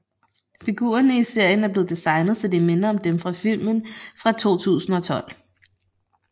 Figurerne i serien er blevet designet så de minder om dem fra filmen fra 2012